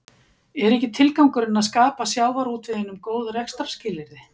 Er ekki tilgangurinn að skapa sjávarútveginum góð rekstrarskilyrði?